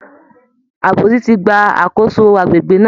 Àbòsí ti gba àkóso àgbègbè náà